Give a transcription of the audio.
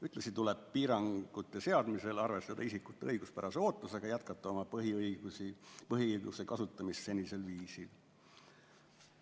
Ühtlasi tuleb piirangute seadmisel arvestada isikute õiguspärase ootusega jätkata oma põhiõiguse kasutamist senisel viisil.